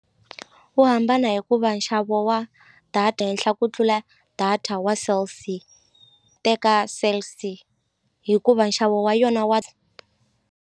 Wu hambana hikuva nxavo wa data henhla ku tlula data wa Cell C teka Cell C hikuva nxavo wa yona wa.